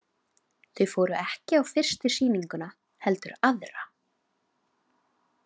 Þau fóru ekki á fyrstu sýninguna, heldur á aðra.